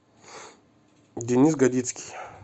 денис годицкий